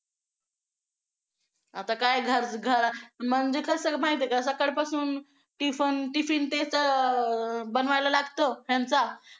आता काय म्हणजे कसं माहिती आहे का सकाळपासून tiffin ते तर बनवायला लागतो ह्यांचा